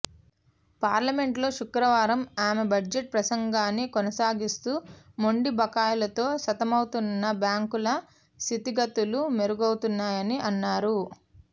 పార్లమెంట్లో శుక్రవారం ఆమె బడ్జెట్ ప్రసంగాన్ని కొనసాగిస్తూ మొండి బకాయిలతో సతమతమవుతున్న బ్యాంకుల స్ధితిగతులు మెరుగవుతున్నాయని అన్నారు